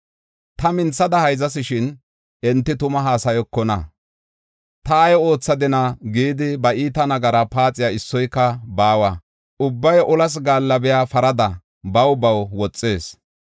Ta minthada hayzas; shin enti tuma haasayokona. ‘Ta ay oothadina?’ gidi ba iita nagaraa paaxey issoyka baawa. Ubbay olas gaallabiya parada baw baw woxees.